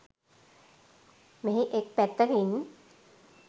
මෙහි එක් පැත්තකින්